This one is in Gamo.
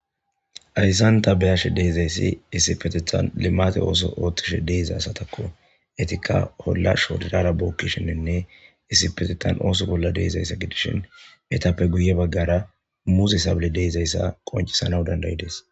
Hayssan ta be'ashe diza issi issipetethan limate ooso oothtishe diza asatakko. Etikka olla shodirara bookkishiinne issipetetan ooso bolla diza issa gidishin etappe guye baggara muze sabile diza issa qoncisana dandayides.